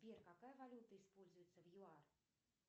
сбер какая валюта используется в юар